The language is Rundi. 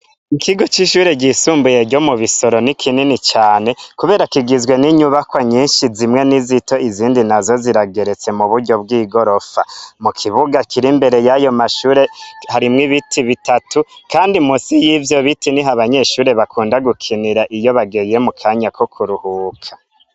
Ikigo c'ishure ryisumbuye ryo mu bisoro ni kinini cane, kubera kigizwe n'inyubakwa nyinshi zimwe n'izito izindi na zo zirageretse mu buryo bw'i gorofa mu kibuga kiri imbere y'ayo mashure harimwo ibiti bitatu, kandi musi y'ivyo biti ni ho abanyeshure bakunda gukinira iyo bagiye mu kanya ko kuruhuka.